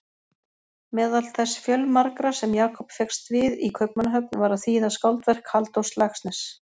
Meðal þess fjölmarga sem Jakob fékkst við í Kaupmannahöfn var að þýða skáldverk Halldórs Laxness.